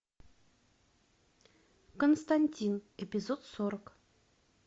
константин эпизод сорок